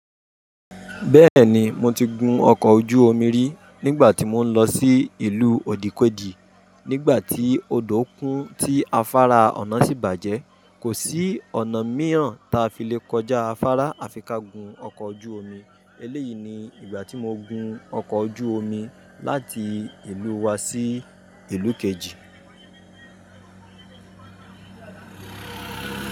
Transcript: Bẹ́ẹ̀ni, mo ti gun ọkọ̀ ojú omi rí nígbà tí mò ń lọ sí ìlú òdìkèjì nígbà tí odò kùn tí afárá Ọ̀nà sí bàjẹ́. Kò sí ọ̀nà míràn ta fi lè kọjá afárá, a fi ka gun ọkọ̀ ojú omi. Eléyìí ni ìgbà tí mo gun ọkọ̀ ojú omi láti ìlú wa sí ìlú kejì.